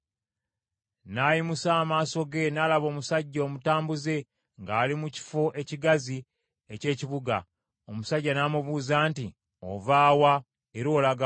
N’ayimusa amaaso ge n’alaba omusajja omutambuze, ng’ali mu kifo ekigazi eky’ekibuga. Omusajja n’amubuuza nti, “Ova wa era olaga wa?”